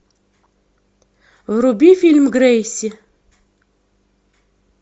вруби фильм грейси